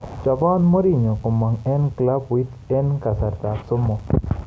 Chuboot Mourinho komong eng klabuit eng kasartab somok